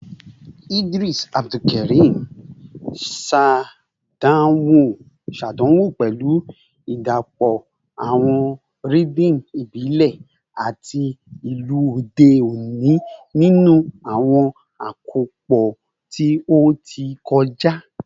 Idris Abdulkarim ṣàdánwò pẹ̀lú ìdàpọ̀ àwọn rhythm ìbílẹ̀ àti ìlù òde òní nínú àwọn àkópọ̀ tí ó ti kọjá